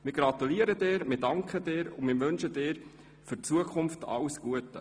Wir gratulieren dir, danken dir und wünschen dir für die Zukunft alles Gute.